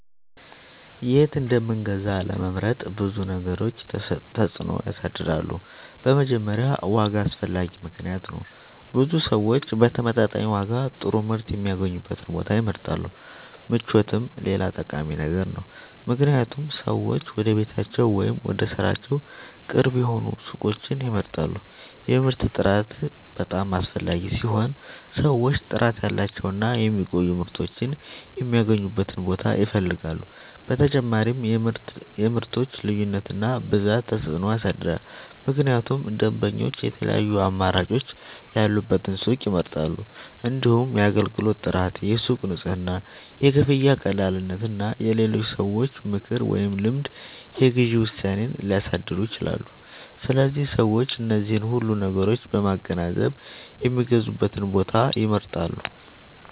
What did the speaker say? የት እንደምንገዛ ለመምረጥ ብዙ ነገሮች ተጽዕኖ ያሳድራሉ። በመጀመሪያ ዋጋ አስፈላጊ ምክንያት ነው፤ ብዙ ሰዎች በተመጣጣኝ ዋጋ ጥሩ ምርት የሚያገኙበትን ቦታ ይመርጣሉ። ምቾትም ሌላ ጠቃሚ ነገር ነው፣ ምክንያቱም ሰዎች ወደ ቤታቸው ወይም ወደ ሥራቸው ቅርብ የሆኑ ሱቆችን ይመርጣሉ። የምርቱ ጥራት በጣም አስፈላጊ ሲሆን ሰዎች ጥራት ያላቸውን እና የሚቆዩ ምርቶችን የሚያገኙበትን ቦታ ይፈልጋሉ። በተጨማሪም የምርቶች ልዩነት እና ብዛት ተጽዕኖ ያሳድራል፣ ምክንያቱም ደንበኞች የተለያዩ አማራጮች ያሉበትን ሱቅ ይመርጣሉ። እንዲሁም የአገልግሎት ጥራት፣ የሱቁ ንጽህና፣ የክፍያ ቀላልነት እና የሌሎች ሰዎች ምክር ወይም ልምድ የግዢ ውሳኔን ሊያሳድሩ ይችላሉ። ስለዚህ ሰዎች እነዚህን ሁሉ ነገሮች በማገናዘብ የሚገዙበትን ቦታ ይመርጣሉ።